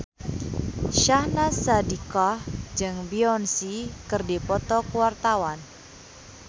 Syahnaz Sadiqah jeung Beyonce keur dipoto ku wartawan